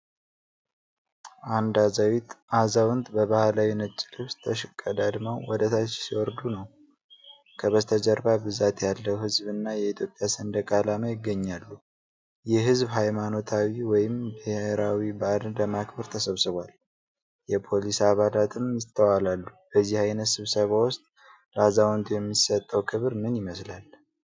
አንድ አዛውንት በባህላዊ ነጭ ልብስ ተሽቀዳድመው ወደ ታች ሲወርዱ ነው። ከበስተጀርባ ብዛት ያለው ሕዝብ እና የኢትዮጵያ ሰንደቅ ዓላማ ይገኛሉ። ይህ ሕዝብ ሃይማኖታዊ ወይም ብሔራዊ በዓልን ለማክበር ተሰብስቧል። የፖሊስ አባላትም ይስተዋላሉ። በዚህ ዓይነት ስብስብ ውስጥ ለአዛውንቱ የሚሰጠው ክብር ምን ይመስላል?